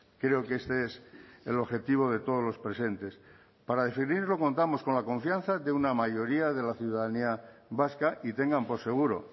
creo que este es el objetivo de todos los presentes para definirlo contamos con la confianza de una mayoría de la ciudadanía vasca y tengan por seguro